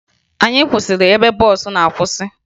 Anyị kwụsịrị ebe bọọsụ na-akwụsa